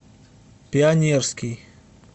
пионерский